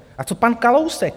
A co pan Kalousek?